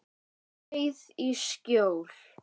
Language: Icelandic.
Skreið í skjól.